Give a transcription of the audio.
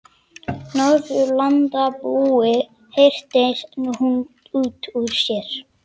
Norðurlandabúi, hreytir hún út úr sér.